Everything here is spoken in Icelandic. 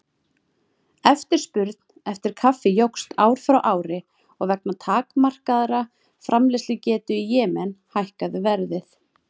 Eftirspurn eftir kaffi jókst ár frá ári og vegna takmarkaðrar framleiðslugetu í Jemen hækkaði verð.